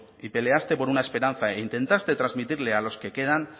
y peleaste por una esperanza e intentaste trasmitirle a los que quedan